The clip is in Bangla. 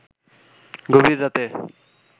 গভীর রাতে